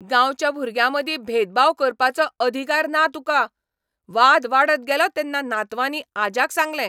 गांवच्या भुरग्यांमदीं भेदभाव करपाचो अधिकार ना तुका. वाद वाडत गेलो तेन्ना नातवांनी आज्याक सांगलें